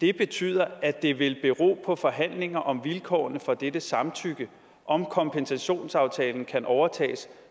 det betyder at det vil bero på forhandlingerne om vilkårene for dette samtykke om kompensationsaftalen kan overtages